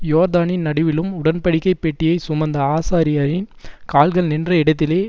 யோர்தானின் நடுவிலும் உடன்படிக்கைப் பெட்டியைச் சுமந்த ஆசாரியரின் கால்கள் நின்ற இடத்திலே